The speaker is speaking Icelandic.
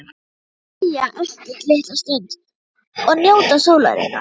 Þau segja ekkert litla stund og njóta sólarinnar.